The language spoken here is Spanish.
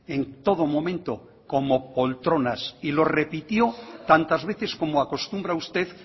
en todo momento como poltronas y lo repitió tantas veces como acostumbra usted